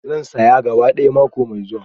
Zan saya gaba ɗaya mako mai zuwa.